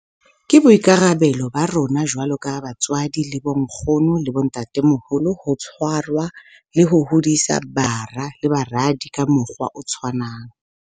Ke boikarabelo ba rona jwalo ka batswadi le bonkgono le bontatemoholo ho tshwarwa le ho hodisa bara le baradi ka mokgwa o tshwanang.